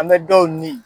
An bɛ dɔw ɲini